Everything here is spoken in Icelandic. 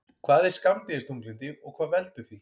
Hvað er skammdegisþunglyndi og hvað veldur því?